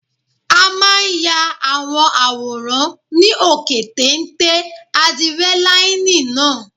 A máa ya àwọn àwòrán ní òkè téńté ádírẹ́láínì náà